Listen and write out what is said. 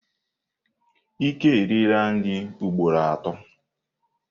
Ike eriela nri ugboro atọ.